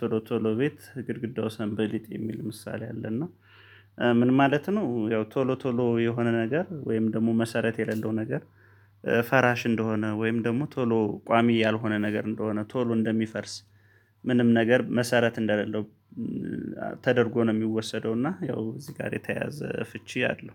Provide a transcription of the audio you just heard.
ቶሎ ቶሎ ቤት ግድግዳው ሰንበሌጥ የሚል ምሳሌ አለ እና ምን ማለት ነው? ያው ቶሎ ቶሎ የሆነ ነገር ወይም ደግሞ መሰረት የሌለው ነገር። ፈራሽ እንደሆነ ወይም ደግሞ ቶሎ ቋሚ ያልሆነ ነገር እንደሆነ ቶሎ እንደሚፈርስ ምንም ነገር መሰረት እንደሌለው። ተደርጎ ነው የሚወሰደው እና ያው እዚህ ጋር የተያዘ ፍቺ አለው